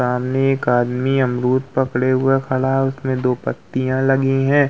सामने एक आदमी अमरूद पकड़े हुए खड़ा है उसमे दो पत्तिया लगीं है।